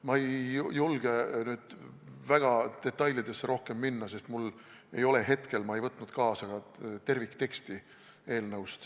Ma ei julge rohkem detailidesse minna, sest ma ei võtnud kaasa ka eelnõu tervikteksti.